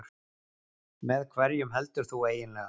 Með hverjum heldur þú eiginlega?